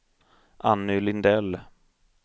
Anny Lindell